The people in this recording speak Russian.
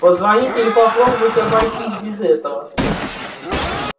позвонить или попробовать обойтись без этого